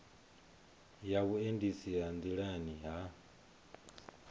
ya vhuendisi ha nḓilani ha